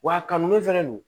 Wa a kanu fɛnɛ don